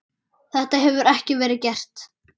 Þetta hefur ekki verið gert.